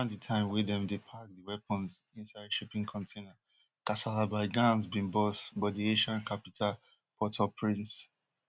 around di time wey dem dey pack di weapons inside shipping container kasala by gangs bin burst for di haitian capital portauprince